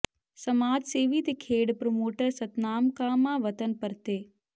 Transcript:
ਸਮਾਜ ਸੇਵੀ ਤੇ ਖੇਡ ਪ੍ਰੋਮੋਟਰ ਸਤਨਾਮ ਕਾਹਮਾ ਵਤਨ ਪਰਤੇ